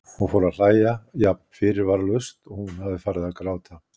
Hún fór að hlæja, jafn fyrirvaralaust og hún hafði farið að gráta.